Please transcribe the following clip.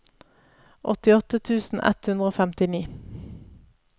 åttiåtte tusen ett hundre og femtini